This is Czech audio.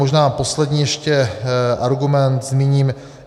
Možná poslední ještě argument zmíním.